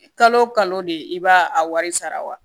Kalo kalo de i b'a a wari sara wa